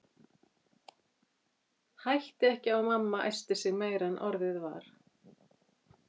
Hætti ekki á að mamma æsti sig meira en orðið var.